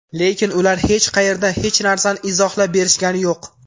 Lekin ular hech qayerda hech narsani izohlab berishgani yo‘q.